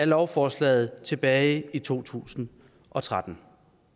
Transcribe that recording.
lovforslaget tilbage i to tusind og tretten